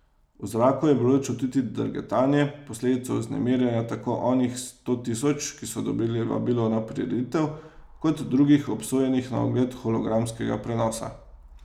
V zraku je bilo čutiti drgetanje, posledico vznemirjenja tako onih sto tisoč, ki so dobili vabilo na prireditev, kot drugih, obsojenih na ogled hologramskega prenosa.